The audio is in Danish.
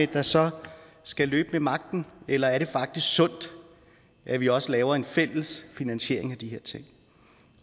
der så skal løbe med magten eller er det faktisk sundt at vi også laver en fælles finansiering af de her ting